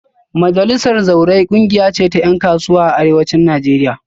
Majalisar Zawarai kungiya ce ta yan kasuwa a Arewacin Najeriya